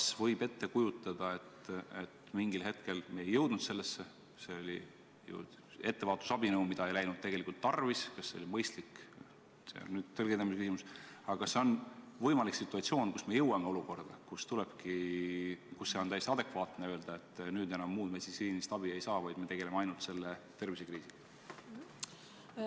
Kas võib ette kujutada, et mingil hetkel me jõuame olukorda – me ei jõudnud sellesse, see oli ettevaatusabinõu, mida ei läinud tegelikult tarvis ja mille mõistlikkus on tõlgendamise küsimus –, kus on täiesti adekvaatne öelda, et nüüd enam muud meditsiinilist abi ei saa, vaid me tegeleme ainult selle konkreetse tervisekriisiga?